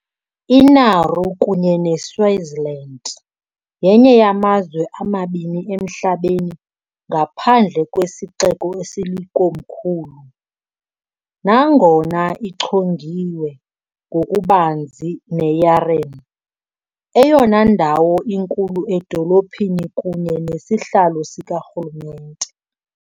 INauru, kunye neSwitzerland, yenye yamazwe amabini emhlabeni ngaphandle kwesixeko esilikomkhulu, nangona ichongiwe ngokubanzi neYaren, eyona ndawo inkulu edolophini kunye nesihlalo sikarhulumente.